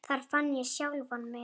Þar fann ég sjálfan mig.